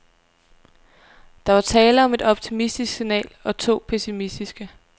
Der var tale om et optimistisk signal og to pessimistiske.